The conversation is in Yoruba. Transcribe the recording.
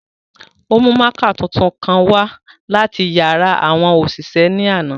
O mu mạạkạ tuntun kan wa lati yara awọn oṣiṣẹ ni ánà.